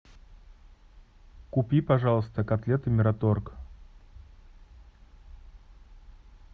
купи пожалуйста котлеты мираторг